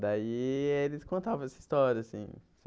Daí eles contavam essa história assim.